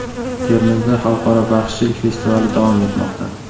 Termizda xalqaro baxshichilik festivali davom etmoqda.